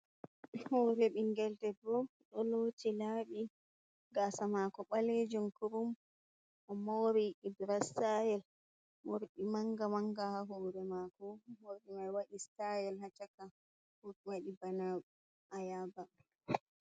Hore ɓingel debbo ɗo loti laɓi gasa mako ɓalejum kurum o moori ibira stayel morɗi manga manga ha hore mako morɗi mai waɗi stayel hacaka waɗi bana ayaba.